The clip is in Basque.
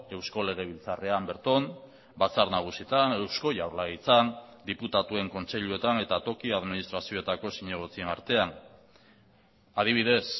eusko legebiltzarrean berton batzar nagusietan eusko jaurlaritzan diputatuen kontseiluetan eta toki administrazioetako zinegotzien artean adibidez